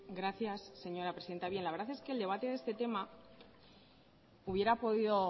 gracias señora presidenta bien la verdad es que el debate de este tema hubiera podido